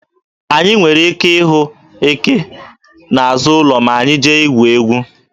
Anyị nwere ike ịhụ eke n'azụ ụlọ ma anyị jee igwu egwu.